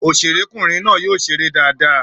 Òṣèré kùnrin náà yóò ṣeré dáadáa.